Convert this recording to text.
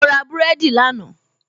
mo ra búrẹ́dì lánàá